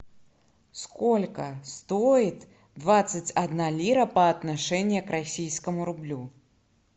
сколько стоит двадцать одна лира по отношению к российскому рублю